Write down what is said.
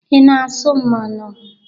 Ị na-azụ mmanụ?